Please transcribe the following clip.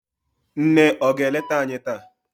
nne ọ ga-eleta anyi taa?